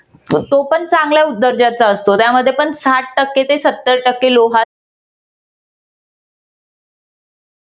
तो पण चांगला दर्जाचा असतो. त्यामध्ये पण साठ टक्के ते सत्तर टक्के लोहाचे